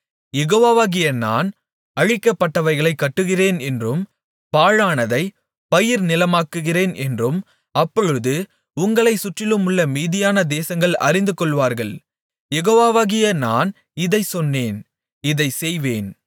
யெகோவாகிய நான் அழிக்கப்பட்டவைகளைக் கட்டுகிறேன் என்றும் பாழானதைப் பயிர்நிலமாக்குகிறேன் என்றும் அப்பொழுது உங்களைச் சுற்றிலுமுள்ள மீதியான தேசங்கள் அறிந்துகொள்வார்கள் யெகோவாகிய நான் இதைச் சொன்னேன் இதைச் செய்வேன்